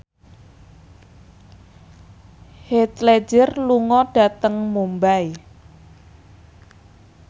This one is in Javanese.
Heath Ledger lunga dhateng Mumbai